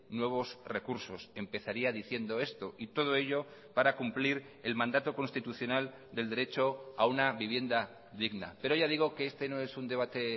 nuevos recursos empezaría diciendo esto y todo ello para cumplir el mandato constitucional del derecho a una vivienda digna pero ya digo que este no es un debate